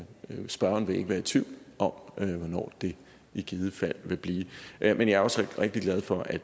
spørgeren vil ikke være i tvivl om hvornår det i givet fald vil blive men jeg er også rigtig glad for at